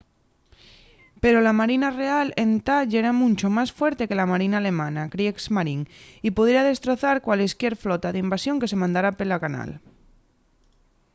pero la marina real entá yera muncho más fuerte que la marina alemana kriegsmarine” y pudiera destrozar cualesquier flota d’invasión que se mandara pela canal